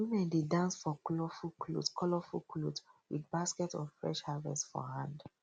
women dey dance for colourful cloth colourful cloth with basket of fresh harvest for hand